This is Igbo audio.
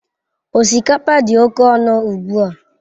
Osikapa dị oke ọnụ ugbu a.